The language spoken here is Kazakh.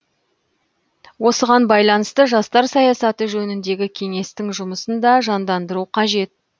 осыған байланысты жастар саясаты жөніндегі кеңестің жұмысын да жандандыру қажет